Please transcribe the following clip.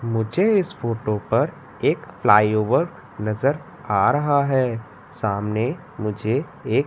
मुझे इस फोटो पर एक फलाई ओवर नजर आ रहा है सामने मुझे एक--